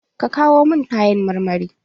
Ka kawo mun kayan marmari?